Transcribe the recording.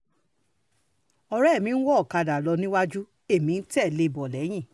ọ̀rẹ́ mi ń wọ ọ̀kadà rìn lọ níwájú èmi ń tẹ̀lé e bọ̀ lẹ́yìn